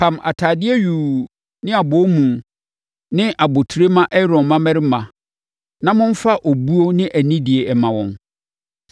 Pam atadeɛ yuu ne abɔwomu ne abotire ma Aaron mmammarima na momfa obuo ne anidie mma wɔn.